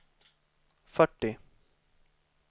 fyrtio